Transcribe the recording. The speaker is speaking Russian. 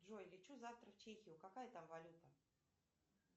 джой лечу завтра в чехию какая там валюта